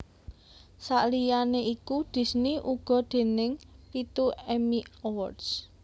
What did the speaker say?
Saliyané iku Disney uga déning pitu Emmy Awards